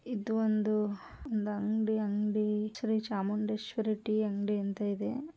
ಇದು ಒಂದು ಆಹ್ ಒಂದು ಅಂಗಡಿ ಅಂಗಡಿ ಶ್ರೀ ಚಾಮುಂಡೇಶ್ವರಿ ಟೀ ಅಂಗಡಿ ಅಂತ ಇದೆ.